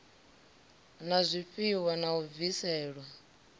na zwifhiwa na u bviselwa